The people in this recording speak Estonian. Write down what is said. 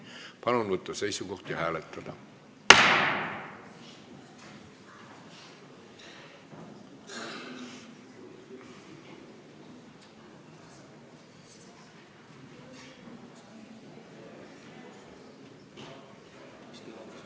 Palun võtta seisukoht ja hääletada!